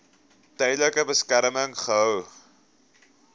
tydelike beskerming gehou